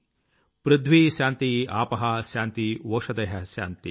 పృధ్వీ శాన్తిరాపః శాంతిరోషధయః శాన్తిః